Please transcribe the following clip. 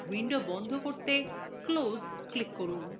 window বন্ধ করতে close x click করুন